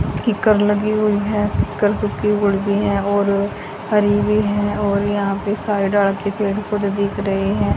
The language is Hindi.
कीकर लगी हुई हैं कीकर सुखी भी है और हरी भी है और यहां पेे सारे ढाल के पेड़ पौधे दिख रहे हैं।